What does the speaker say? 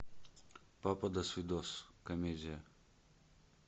папа досвидос комедия